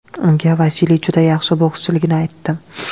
Unga Vasiliy juda yaxshi bokschiligini aytdim.